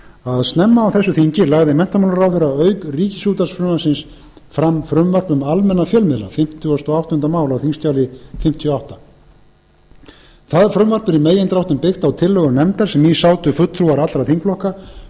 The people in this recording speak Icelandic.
að snemma á þessu þingi lagði menntamálaráðherra auk ríkisútvarpsfrumvarpsins fram frumvarp um almenna fjölmiðla það frumvarp er í megindráttum byggt á tillögum nefndar sem í sátu fulltrúar allra þingflokka